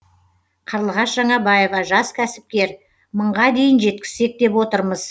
қарлығаш жаңабаева жас кәсіпкер мыңға дейін жеткізсек деп отырмыз